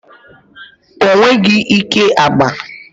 O nweghi ike agba.